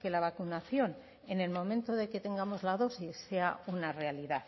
que la vacunación en el momento de que tengamos la dosis sea una realidad